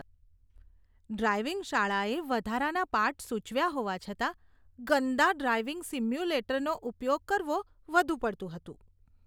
Driving શાળાએ વધારાના પાઠ સૂચવ્યા હોવા છતાં, ગંદા ડ્રાઈવિંગ સિમ્યુલેટરનો ઉપયોગ કરવો વધુ પડતું હતું.